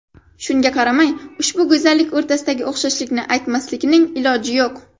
Shunga qaramay, ushbu go‘zallik o‘rtasidagi o‘xshashlikni aytmaslikning iloji yo‘q.